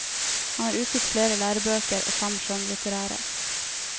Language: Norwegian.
Han har utgitt flere lærebøker og fem skjønnlitterære.